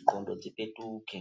ndxondo dzipetuke.